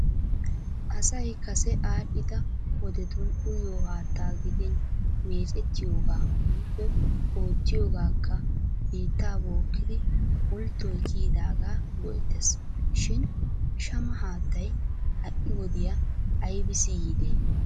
Asay kase aadhdhida wodetun uyiyo haattaa gidin meecettiyoga woyikko oottiyoogaakka biitta bookkidi pulttoy kiyidaagaa go'ettes shin shama haattay ha'i wodiya aybbissi yiide?